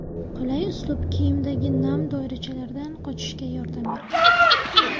Qulay uslub kiyimdagi nam doirachalardan qochishga yordam beradi.